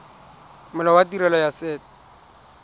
molao wa tirelo ya set